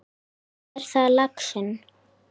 Svo er það laxinn.